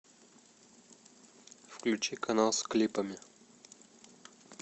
включи канал с клипами